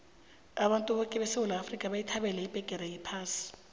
abantu boke besewula bayithabela ibheqere yephasi